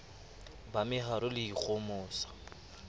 ba meharo le ho ikgohomosa